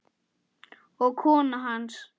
og kona hans.